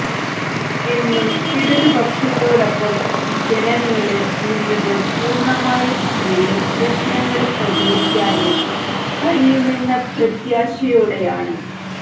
എന്നും ഇടതു പക്ഷത്തോടൊപ്പം ജനങ്ങള് നിന്നത് പൂര്ണ്ണമായും അവരുടെ പ്രശ്നങ്ങള് പരിഹരിക്കാന് കഴിയുമെന്ന പ്രത്യാശയോടെയാണ്